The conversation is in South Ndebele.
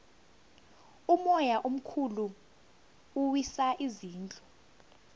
umoya omkhulu uwisa izindlu